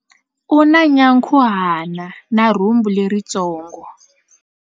U na nyankhuhana na rhumbu leritsongo.